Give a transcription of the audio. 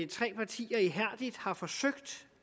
tre partier ihærdigt har forsøgt